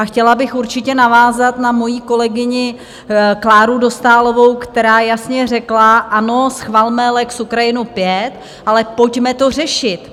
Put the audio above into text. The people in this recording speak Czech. A chtěla bych určitě navázat na moji kolegyni Kláru Dostálovou, která jasně řekla: Ano, schvalme lex Ukrajinu V, ale pojďme to řešit.